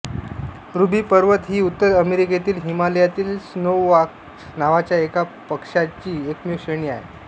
ruby पर्वत ही उत्तर अमेरिकेतील हिमालयातील स्नोवकॉच्क नावाच्या एका पक्षीची एकमेव श्रेणी आहे